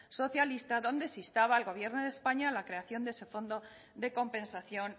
socialista donde se instaba al gobierno de españa a la creación de ese fondo de compensación